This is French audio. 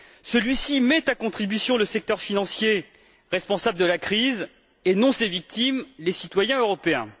Celui ci met à contribution le secteur financier responsable de la crise, et non ses victimes, les citoyens européens.